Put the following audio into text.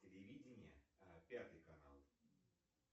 телевидение пятый канал